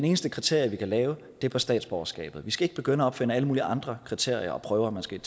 eneste kriterie vi kan lave er på statsborgerskabet vi skal ikke begynde at opfinde alle mulige andre kriterier og prøver man skal